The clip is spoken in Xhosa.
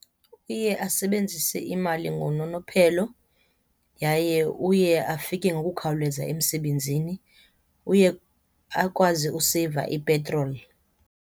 Uye asebenzise imali ngononophelo yaye uye afike ngokukhawuleza emsebenzini uye akwazi useyiva ipetroli.